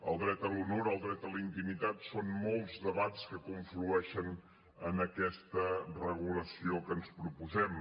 el dret a l’honor el dret a la intimitat són molts debats que conflueixen en aquesta regulació que ens proposem